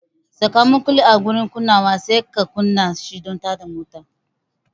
Saka makulli a gurin kunnawa sai ka kunna shi don tada motar.